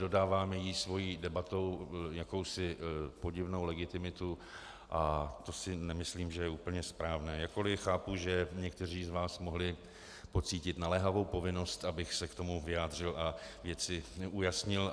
Dodáváme jí svou debatou jakousi podivnou legitimitu a to si nemyslím, že je úplně správné, jakkoli chápu, že někteří z vás mohli pocítit naléhavou povinnost, abych se k tomu vyjádřil a věci ujasnil.